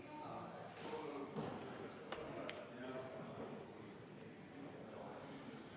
V a h e a e g